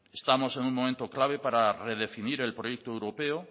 estamos en un momento clave para redefinir el proyecto europeo